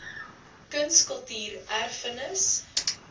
kuns kultuur erfenis